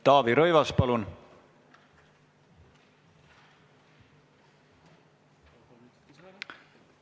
Taavi Rõivas, palun!